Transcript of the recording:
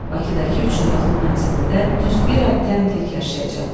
Bakıdakı üç otaqlı mənzilində düz bir ay təm tək yaşayacaq.